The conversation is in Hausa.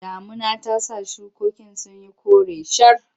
Damuna ta sa shukokin sun yi kore shar.